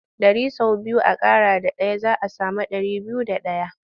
Ɗari sau biyu a ƙara da ɗaya za a sami ɗari biyu da ɗaya.